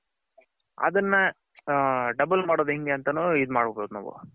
ಅದುನ್ನ double ಮಾಡದ್ ಹೆಂಗೆ ಅಂತ ಈದ್ ಮದ್ಬೌದು ನಾವು.